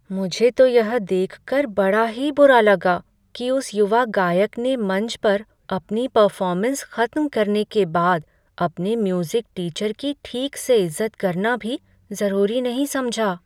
मुझे तो यह देखकर बड़ा ही बुरा लगा कि उस युवा गायक ने मंच पर अपनी परफ़ॉर्मेंस खत्म करने के बाद अपने म्यूज़िक टीचर की ठीक से इज़्ज़त करना भी ज़रूरी नहीं समझा।